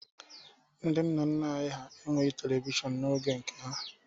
Nna nna anyị hà enweghi Televishọn n'oge nke ha.